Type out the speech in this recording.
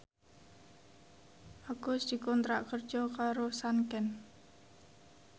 Agus dikontrak kerja karo Sanken